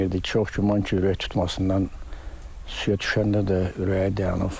Çox güman ki, ürək tutmasından suya düşəndə də ürəyi dayanıb.